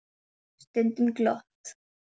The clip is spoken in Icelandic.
Stundum glott.